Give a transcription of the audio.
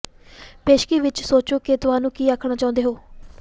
ਪੇਸ਼ਗੀ ਵਿੱਚ ਸੋਚੋ ਕਿ ਤੁਹਾਨੂੰ ਕੀ ਆਖਣਾ ਚਾਹੁੰਦੇ ਹੋ